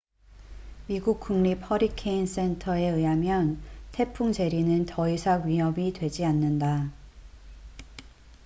미국 국립 허리케인 센터 nhc에 의하면 태풍 제리는 더 이상 위협이 되지 않는다